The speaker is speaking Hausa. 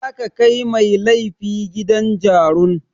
Za a kai mai laifi gidan jarun.